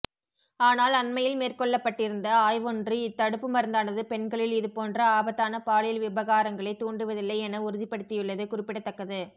ஆனால் அண்மையில் மேற்கொள்ளப்பட்டிருந்த ஆய்வொன்று இத் தடுப்புமருந்தானது பெண்களில் இதுபோன்ற ஆபத்தான பாலியல் விபகாரங்களைத் தூண்டுவதில்லை என உறுதிப்படுத்தியுள்ளது குறிப்பிடத்தக்கது